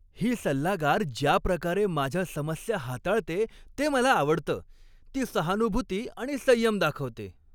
ही सल्लागार ज्या प्रकारे माझ्या समस्या हाताळते ते मला आवडतं. ती सहानुभूती आणि संयम दाखवते.